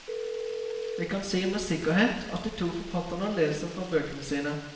Vi kan si med sikkerhet at de to forfatterne leser fra bøkene sine.